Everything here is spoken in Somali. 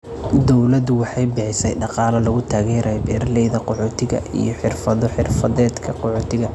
Dawladdu waxay bixisay dhaqaale lagu taageerayo beeralayda qaxootiga iyo xirfado xirfadeedka qaxootiga.